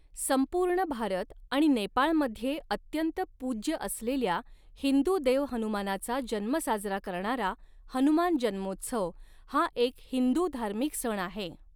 संपूर्ण भारत आणि नेपाळमध्ये अत्यंत पूज्य असलेल्या हिंदू देव हनुमानाचा जन्म साजरा करणारा हनुमान जन्मोत्सव, हा एक हिंदू धार्मिक सण आहे.